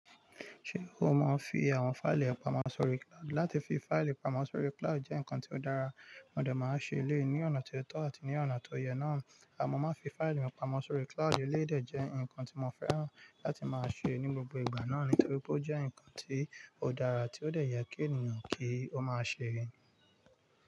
Ṣé o mọ fi àwọn fáìlì pamọ́ sórí cloud? Láti fi fáìlì pamọ́ sórí cloud jẹ́ nǹkan tí ó dára, mo de máa ń ṣe eléyi ní ọ̀nà ti ó tọ́ àti ní ọ̀nà tó yẹ náà. Mọ́ máa fi fáìlì mi pamọ́ sórí cloud eléyi dè jẹ́ nǹkan tí mo fẹ́ràn láti máa ṣe ní gbogbo ìgbà náà nítorí pé ó jẹ́ nǹkan tí ó dára tí ó dẹ̀ yẹ kí ènìyàn kí ó máa ṣe.